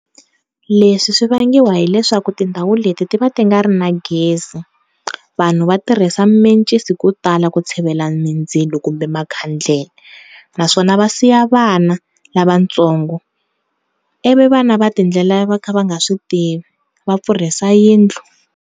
Leswi swi vangiwa hileswaku tindhawu leti ti va ti nga ri na gezi vanhu va tirhisa mimencisi ko tala ku tshivela mindzilo kumbe makhandlelaa naswona va siya vana lavatsongo, ivi vana va tiendlela va kha va nga swi tivi va pfurhisa yindlu.